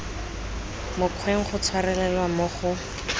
mokgweng go tshwarelelwa mo go